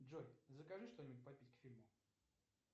джой закажи что нибудь попить к фильму